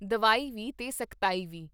ਦਵਾਈ ਵੀ, ਤੇ ਸਖਤਾਈ ਵੀ।